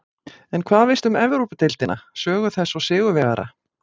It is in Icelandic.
En hvað veistu um Evrópudeildina, sögu þess og sigurvegara?